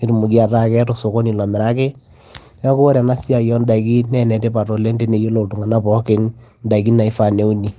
netumoki ataa keeta osokoni lomiraki neeku ore ena siai ondaiki naa enetipat oleng teneyiolou iltung'anak pookin indaiki naifaa neuni.